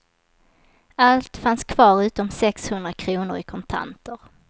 Allt fanns kvar utom sex hundra kronor i kontanter.